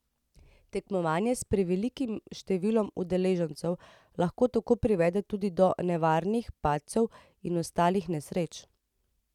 Tekmovanje s prevelikim številom udeležencev lahko tako privede tudi do nevarnih padcev in ostalih nesreč.